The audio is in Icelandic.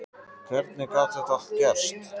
Og hvernig gat þetta allt gerst?